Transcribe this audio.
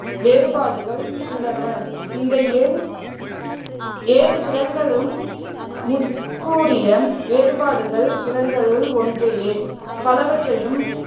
வேறுபாடுகள் உள்ளன. இந்த ஏழு ஏழு சுரங்களும், முற்கூறிய வேறுபாடுகள் சுரங்களுள் ஒன்றையே, பலவற்றையும்